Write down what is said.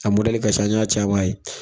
A mɔdɛli ka ca, an y' an ci a man a yi.